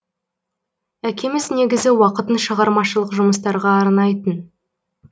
әкеміз негізі уақытын шығармашылық жұмыстарға арнайтын